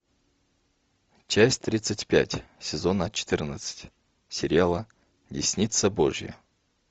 часть тридцать пять сезона четырнадцать сериала десница божья